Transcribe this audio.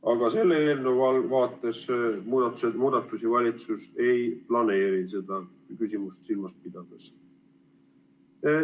Aga selle eelnõu vaates valitsus muudatusi ei planeeri seda küsimust silmas pidades.